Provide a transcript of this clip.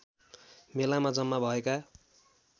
मेलामा जम्मा भएका